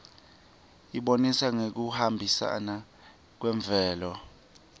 ibonisa ngekuhambisana kwemvelo